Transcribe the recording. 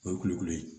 O ye kulukoro ye